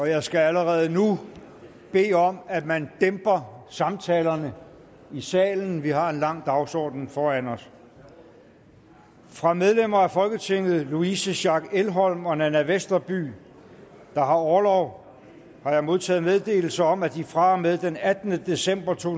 jeg skal allerede nu bede om at man dæmper samtalerne i salen vi har en lang dagsorden foran os fra medlemmer af folketinget louise schack elholm og nanna westerby der har orlov har jeg modtaget meddelelse om at de fra og med den attende december to